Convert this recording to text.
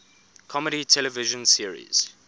comedy television series